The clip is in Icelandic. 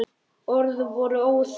Orð voru óþörf.